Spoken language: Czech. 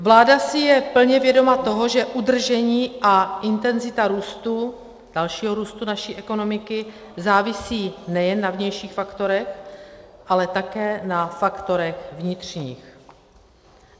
Vláda si je plně vědoma toho, že udržení a intenzita růstu, dalšího růstu naší ekonomiky závisí nejen na vnějších faktorech, ale také na faktorech vnitřních.